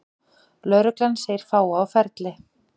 Lögreglan segir fáa á ferli